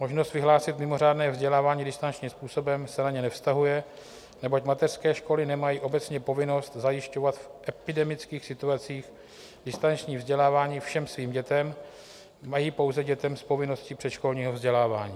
Možnost vyhlásit mimořádné vzdělávání distančním způsobem se na ně nevztahuje, neboť mateřské školy nemají obecně povinnost zajišťovat v epidemických situacích distanční vzdělávání všem svým dětem, mají pouze dětem s povinností předškolního vzdělávání.